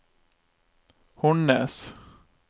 Hornnes